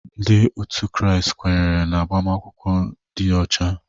Ndị ọtú kraịst ekwenyerela n'agbamakwụkwọ ndị ọcha.